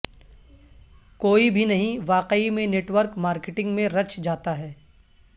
کوئی بھی نہیں واقعی میں نیٹ ورک مارکیٹنگ میں رچ جاتا ہے